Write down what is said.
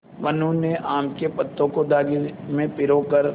मनु ने आम के पत्तों को धागे में पिरो कर